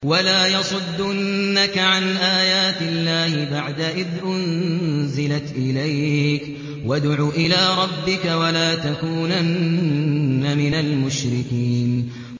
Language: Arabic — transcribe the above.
وَلَا يَصُدُّنَّكَ عَنْ آيَاتِ اللَّهِ بَعْدَ إِذْ أُنزِلَتْ إِلَيْكَ ۖ وَادْعُ إِلَىٰ رَبِّكَ ۖ وَلَا تَكُونَنَّ مِنَ الْمُشْرِكِينَ